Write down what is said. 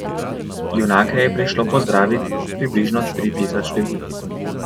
Junake je prišlo pozdravit približno tri tisoč ljudi.